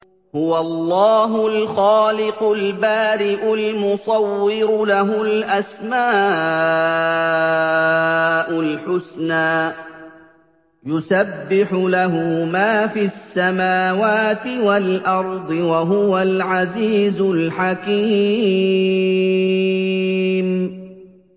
هُوَ اللَّهُ الْخَالِقُ الْبَارِئُ الْمُصَوِّرُ ۖ لَهُ الْأَسْمَاءُ الْحُسْنَىٰ ۚ يُسَبِّحُ لَهُ مَا فِي السَّمَاوَاتِ وَالْأَرْضِ ۖ وَهُوَ الْعَزِيزُ الْحَكِيمُ